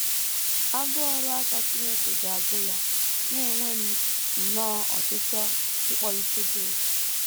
‘ Agụụ ọrụ aka Chineke ga - agụ Ya, ’ na - enwe nnọọ ọchịchọ ịkpọlite Job.